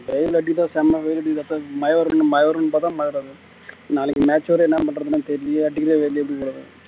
வெயில் அடிக்குது செம வெயில் அடிக்குது மழை வரும்னு மழை வரும்னு பார்த்தா மழை வராது நாளைக்கு match வேற என்ன பண்றதுன்னு தெரியலையே அடிக்கிற வெயில்ல